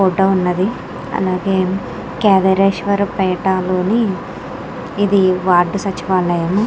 Photo ఉన్నది అలాగే కాదరేశ్వర పేట లోని ఇది వార్డు సచివాలయం.